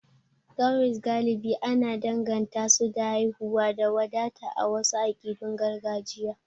Cowries galibi ana danganta su da haihuwa da wadata a wasu akidun gargajiya.